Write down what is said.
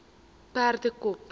perdekop